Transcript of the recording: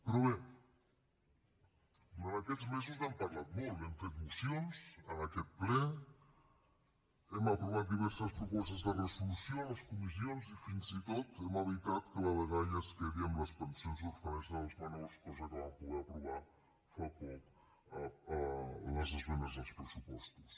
però bé durant aquests mesos n’hem parlat molt hem fet mocions en aquest ple hem aprovat diverses propostes de resolució a les comissions i fins i tot hem evitat que la dgaia es quedi amb les pensions d’orfenesa dels menors cosa que vam poder aprovar fa poc a les esmenes als pressupostos